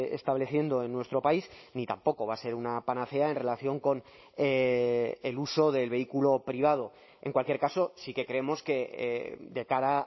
estableciendo en nuestro país ni tampoco va a ser una panacea en relación con el uso del vehículo privado en cualquier caso sí que creemos que de cara